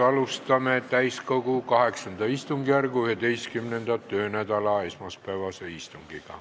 Alustame täiskogu VIII istungjärgu 11. töönädala esmaspäevast istungit.